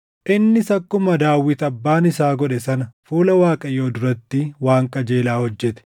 Innis akkuma Daawit abbaan isaa godhe sana fuula Waaqayyoo duratti waan qajeelaa hojjete.